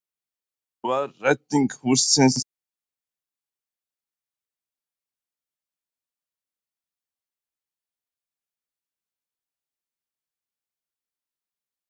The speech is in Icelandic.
Var rétting hússins fullnægjandi og í samræmi við þær kröfur sem gera mátti til matsþola?